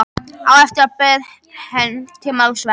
Á eftir bauð hann til málsverðar.